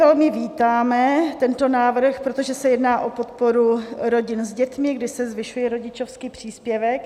Velmi vítáme tento návrh, protože se jedná o podporu rodin s dětmi, kdy se zvyšuje rodičovský příspěvek.